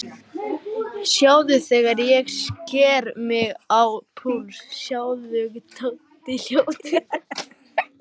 Sjáðu þegar ég sker mig á púls, sjáðu, Tóti ljóti.